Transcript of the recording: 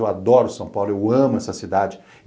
Eu adoro São Paulo, eu amo essa cidade.